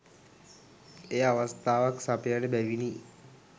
එය අවස්ථාවක් සපයන බැවිනි.